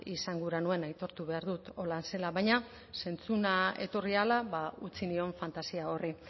izan gura nuen aitortu behar dut horrela zela baina zentzuna etorri ahala utzi nion fantasia horri